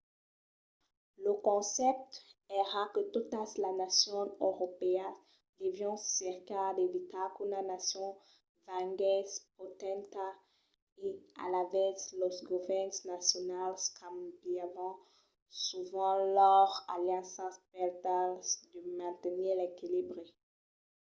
lo concèpte èra que totas las nacions europèas devián cercar d'evitar qu'una nacion venguèsse potenta e alavetz los govèrns nacionals cambiavan sovent lors alianças per tal de mantenir l'equilibri